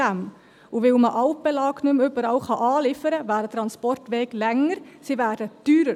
Und weil man Altbelag nicht mehr überall anliefern kann, werden die Transportwege länger und teurer;